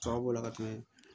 Tɔw b'o la ka tɛmɛ